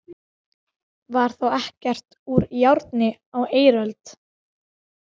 Var þá ekkert úr járni á eiröld?